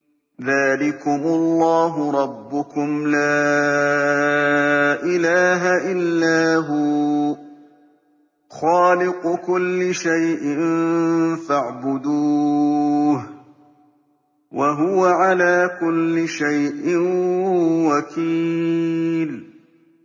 ذَٰلِكُمُ اللَّهُ رَبُّكُمْ ۖ لَا إِلَٰهَ إِلَّا هُوَ ۖ خَالِقُ كُلِّ شَيْءٍ فَاعْبُدُوهُ ۚ وَهُوَ عَلَىٰ كُلِّ شَيْءٍ وَكِيلٌ